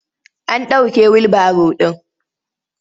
An ɗauke wilbaro ɗin.